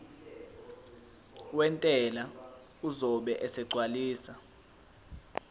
wentela uzobe esegcwalisa